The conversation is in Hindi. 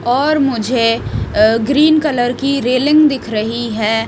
और मुझे अह ग्रीन कलर की रेलिंग दिख रही है।